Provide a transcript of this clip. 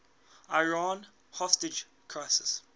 iran hostage crisis